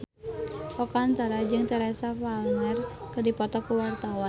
Oka Antara jeung Teresa Palmer keur dipoto ku wartawan